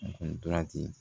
Ndolan ci